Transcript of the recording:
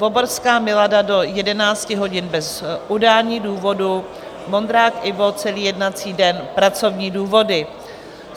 Voborská Milada do 11 hodin - bez udání důvodu, Vondrák Ivo celý jednací den - pracovní důvody.